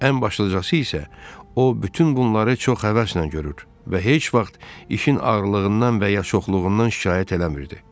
Ən başlıcası isə o bütün bunları çox həvəslə görür və heç vaxt işin ağırlığından və ya çoxluğundan şikayət eləmirdi.